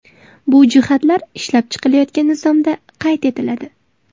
Bu jihatlar ishlab chiqilayotgan nizomda qayd etiladi.